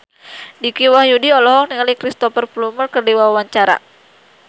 Dicky Wahyudi olohok ningali Cristhoper Plumer keur diwawancara